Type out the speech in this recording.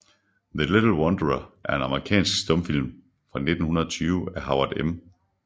The Little Wanderer er en amerikansk stumfilm fra 1920 af Howard M